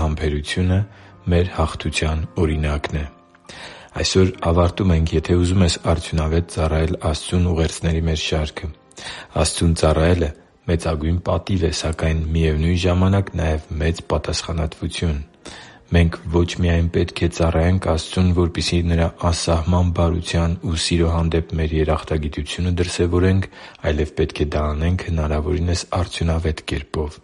համբերությունը մեր հաղթության օրինակն է Այսօր ավարտում ենք «Եթե ուզում ես արդյունավետ ծառայել Աստծուն» ուղերձների մեր շարքը։ Աստծուն ծառայելը մեծագույն պատիվ է, սակայն, միևնույն ժամանակ, նաև մեծ պատասխանատվություն։ Մենք ո՛չ միայն պետք է ծառայենք Աստծուն, որպեսզի Նրա անսահման բարության ու սիրո հանդեպ մեր երախտագիտությունը դրսևորենք, այլև պետք է դա անենք հնարավորինս արդյունավետ կերպով։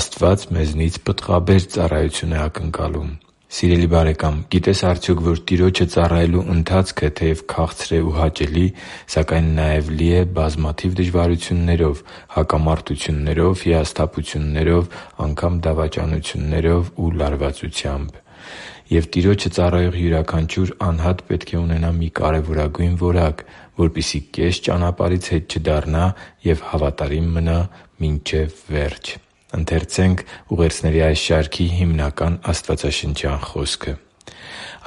Աստված մեզնից պտղաբեր ծառայություն է ակնկալում։ Սիրելի՛ բարեկամ, գիտե՞ս արդյոք, որ Տիրոջը ծառայելու ընթացքը թեև քաղցր է ու հաճելի, սակայն նաև լի է բազմաթիվ դժվարություններով, հակամարտություններով, հիասթափություններով և անգամ՝ դավաճանություններով, երբեմն նաև՝ լարվածությամբ։ Եվ Տիրոջը ծառայող յուրաքանչյուր անհատ պետք է ունենա մի կարևորագույն որակ, որպեսզի կես ճանապարհից հետ չդառնա ու հավատարիմ մնա մինչև վերջ։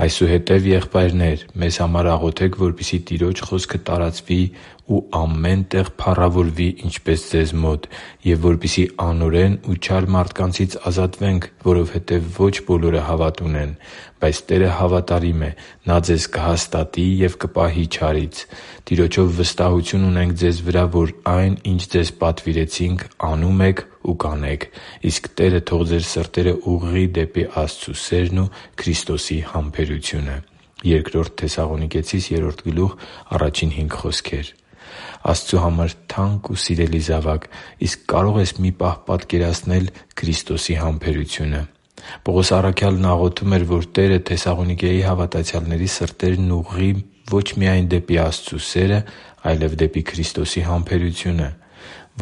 «Այսուհետև, եղբայրնե՛ր, մեզ համար աղոթե՛ք, որպեսզի Տիրոջ խոսքը տարածվի ու ամեն տեղ փառավորվի, ինչպես ձեզ մոտ, և որպեսզի անօրեն ու չար մարդկանցից ազատվենք, որովհետև ոչ բոլորը հավատ ունեն։ Բայց Տերը հավատարիմ է. Նա ձեզ կհաստատի և կպահի չարից։ Տիրոջով վստահություն ունենք ձեզ վրա, որ այն, ինչ ձեզ պատվիրեցինք, անում եք ու կանեք։ Իսկ Տերը թող ձեր սրտերը ուղղի դեպի Աստծու սերն ու Քրիստոսի համբերությունը» (Բ Թեսաղոնիկեցիս 3.1-5)։ Աստծու համար թանկ ու սիրելի՛ զավակ, իսկ կարո՞ղ ես մի պահ պատկերացնել Քրիստոսի համբերությունը։ Պողոս առաքյալն աղոթում էր, որ Տերը Թեսաղոնիկեի հավատացյալների սրտերն ուղղի ոչ միայն դեպի Աստծու սերը, այլև դեպի Քրիստոսի համբերությունը։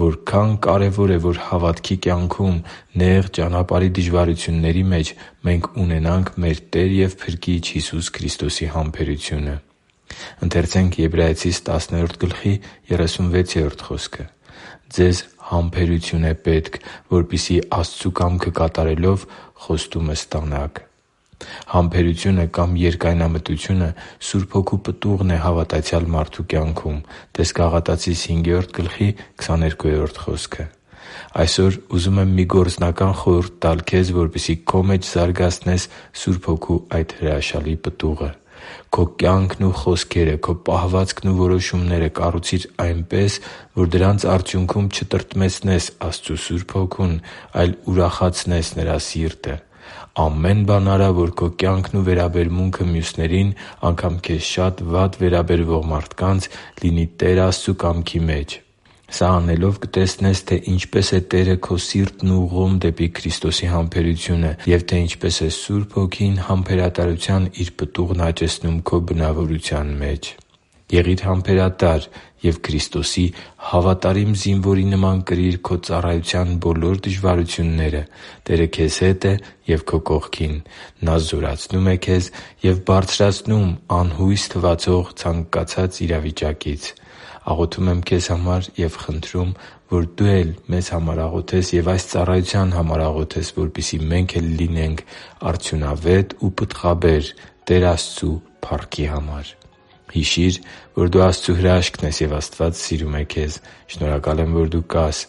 Որքա՜ն կարևոր է, որ հավատքի կյանքում՝ նեղ ճանապարհի դժվարությունների մեջ, մենք ունենանք մեր Տեր և Փրկիչ Հիսուս Քրիստոսի համբերությունը։ «Ձեզ համբերություն է պետք, որպեսզի Աստծու կամքը կատարելով՝ խոստումն ստանաք» (Եբրայեցիս 10․36): Համբերությունը կամ երկայնամտությունը Սուրբ Հոգու պտուղն է հավատացյալ մարդու կյանքում (տե՛ս Գաղատացիս 5․22 խոսքը)։ Այսօր ուզում եմ մի գործնական խորհուրդ տալ քեզ, որպեսզի քո մեջ զարգացնես Սուրբ Հոգու այդ պտուղը։ Քո կյանքն ու խոսքերը, քո պահվածքն ու որոշումները կառուցիր այնպես, որ դրանց արդյունքում չտրտմեցնես Աստծու Սուրբ Հոգուն, այլ ուրախացնես Նրա սիրտը։ Ամեն բան արա՛, որ քո կյանքն ու վերաբերմունքը մյուսներին, անգամ քեզ շատ վատ վերաբերվող մարդկանց, լինի Տեր Աստծու կամքի մեջ։ Սա անելով՝ կտեսնես, թե ինչպես է Տերը քո սիրտն ուղղում դեպի Քրիստոսի համբերությունը և թե ինչպես է Սուրբ Հոգին համբերատարության Իր պտուղն աճեցնում քո բնավորության մեջ։ Եղի՛ր համբերատար և Քրիստոսի հավատարիմ զինվորի նման կրի՛ր քո ծառայության բոլոր դժվարությունները։ Տերը քեզ հետ է ու քո կողքին։ Նա զորացնում է քեզ և բարձրացնում անհույս թվացող ցանկացած իրավիճակից։ Աղոթում եմ քեզ համար և խնդրում, որ դու էլ մեզ համար և այս ծառայության համար աղոթես, որպեսզի մենք էլ լինենք արդյունավետ ու պտղաբեր Տեր Աստծու փառքի համար։ Հիշի՛ր, որ դու Աստծո հրաշքն ես, և Աստված սիրում է քեզ։ Շնորհակալ եմ, որ դու կա՛ս